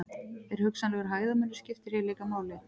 En hugsanlegur hæðarmunur skiptir hér líka máli.